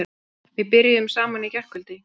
Við byrjuðum saman í gærkvöld.